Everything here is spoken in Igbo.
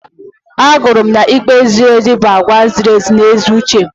Agụrụ m na ikpe ziri ezi bụ àgwà ziri ezi na ezi uche.